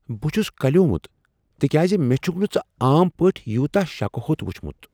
بہ چھُس کلیومت تکیاز مےٚ چھُکھ نہ ژٕ عام پٲٹھۍ یوتاہ شکھِ ہوٚت وچھمت۔